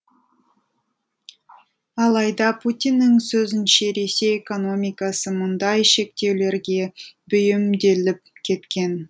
алайда путиннің сөзінше ресей экономикасы мұндай шектеулерге бейімделіп кеткен